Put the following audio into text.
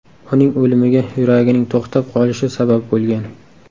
Uning o‘limiga yuragining to‘xtab qolishi sabab bo‘lgan.